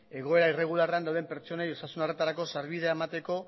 egoera irregularrean dauden pertsonei osasun arretarako sarbidea emateko